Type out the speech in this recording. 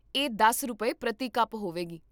ਇਹ ਦਸ ਰੁਪਏ, ਪ੍ਰਤੀ ਕੱਪ ਹੋਵੇਗਾ